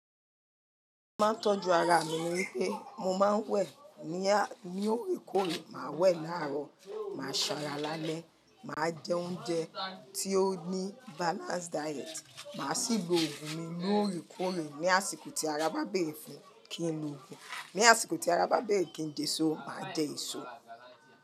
Mo máa ń tọ́jú ara mi ní pé mo máa ń wẹ̀ ní ní òorè oòrè, màá wẹ̀ láàárọ̀, màá sanra lálẹ́, màá jẹ oúnjẹ tí ó ní balance diet, màá sì lo ògùn mi ní òorè òorè. Ní àsìkò tí ara bá bèrè fún kí n lo ògùn, ní àsìkò tí ara bá bèrè kí n jẹ èso, màá jẹ èso.